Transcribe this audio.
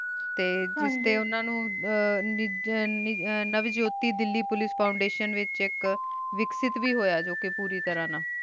T ਜੇਤੀ ਉਨਾ ਨੂ ਹਮਮ ਨਾਵੇਈ ਦਿਲੀ ਪੁਲਿਕੇ ਫ਼ੌਨ੍ਦੇਅਤਿਓਨ ਵੇਖ੍ਸ਼ੇਟ ਵੇ ਹੂਯ ਜੋ ਕੀ ਪੂਰੀ ਤਰ੍ਹਾਂ ਨਾ